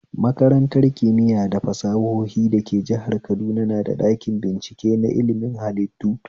Makarantar kimiya da fasahohi da ke jihar kaduna na da ɗakin bincike na ilmin hallitu